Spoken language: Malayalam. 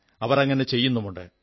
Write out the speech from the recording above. അവർ അങ്ങനെ ചെയ്യുന്നുമുണ്ട്